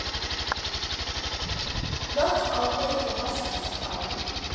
Völl á degi vaskir slá.